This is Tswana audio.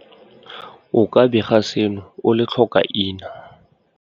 O ka bega seno o le tlhokaina.